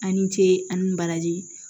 A' ni ce a ni baraji